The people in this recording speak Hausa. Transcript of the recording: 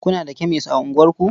Kuna da kemes a unguwarku?